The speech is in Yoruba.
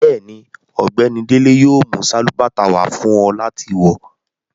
Bẹ́ẹ̀ni, Ọgbẹni Dele yóò mú salubàtà wà fún ọ láti wọ.